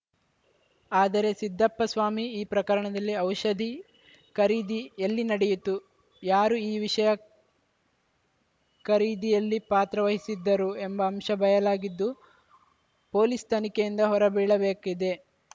ಆದರೆ ಸಿದ್ದಪ್ಪಸ್ವಾಮಿ ಈ ಪ್ರಕರಣದಲ್ಲಿ ಔಷಧಿ ಖರೀದಿ ಎಲ್ಲಿ ನಡೆಯಿತು ಯಾರು ಈ ವಿಷಯ ಖರೀದಿಯಲ್ಲಿ ಪಾತ್ರ ವಹಿಸಿದ್ದರೂ ಎಂಬ ಅಂಶ ಬಯಲಾಗಿದ್ದು ಪೊಲೀಸ್‌ ತನಿಖೆ ಯಿಂದ ಹೊರಬೀಳಬೇಕಿದೆ